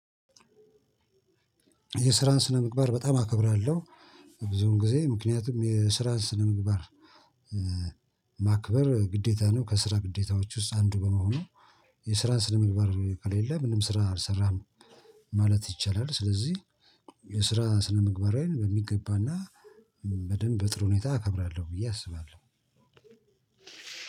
የስራን ስነ ምግባር በጣም አከብራለሁ። ብዙም ጊዜ ምክንያቱም የስራን ስነ ምግባር ማክበር ግዴታ ነው ከስራ ግዴታዎች ውስጥ አንዱ በመሆኑ። የስራን ስነ ምግባር ከለለ ምንም ስራ አልሰራም ማለት ይቻላል። ስለዚህ የስራ ስነ ምግባሬን በሚገባና በደንብ በጥር ሁኔታ አከብራለሁ ብዬ አስባለሁ።